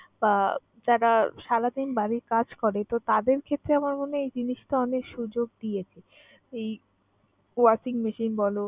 বা যারা সারাদিন বাড়ির কাজ করে তো তাদের ক্ষেত্রে আমার মনে হয় এই জিনিসটা অনেক সুযোগ দিয়েছে। এই washing machine বল